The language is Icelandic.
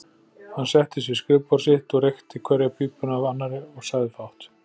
Hann settist við skrifborð sitt, reykti hverja pípuna af annarri og sagði fátt.